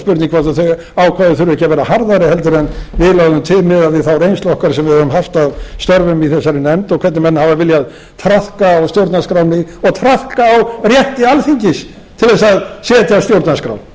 spurning hvort þau ákvæði þurfi ekki að vera harðari heldur en við lögðum til miðað við þá reynslu okkar sem við höfum haft af störfum í þessari nefnd og hvernig menn hafa viljað traðka á stjórnarskránni og traðka á rétti alþingis til að setja stjórnarskrá